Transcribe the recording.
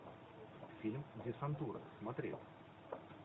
фильм десантура смотреть